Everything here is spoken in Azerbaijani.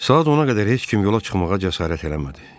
Saat ona qədər heç kim yola çıxmağa cəsarət eləmədi.